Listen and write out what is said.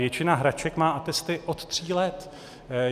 Většina hraček má atesty od tří let.